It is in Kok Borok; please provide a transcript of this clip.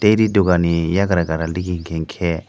ree dogan ni eiagra gana dige enkke--